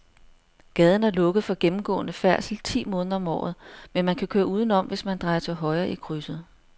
Gaden er lukket for gennemgående færdsel ti måneder om året, men man kan køre udenom, hvis man drejer til højre i krydset.